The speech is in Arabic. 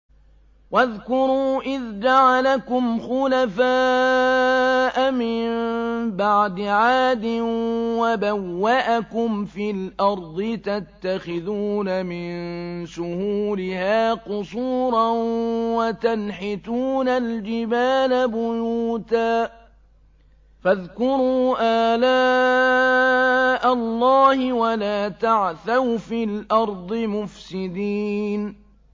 وَاذْكُرُوا إِذْ جَعَلَكُمْ خُلَفَاءَ مِن بَعْدِ عَادٍ وَبَوَّأَكُمْ فِي الْأَرْضِ تَتَّخِذُونَ مِن سُهُولِهَا قُصُورًا وَتَنْحِتُونَ الْجِبَالَ بُيُوتًا ۖ فَاذْكُرُوا آلَاءَ اللَّهِ وَلَا تَعْثَوْا فِي الْأَرْضِ مُفْسِدِينَ